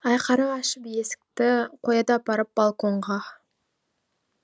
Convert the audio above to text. айқара ашып есікті қояды апарып балконға